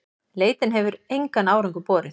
Leitin hefur engan árangur borið.